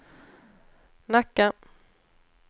Nacka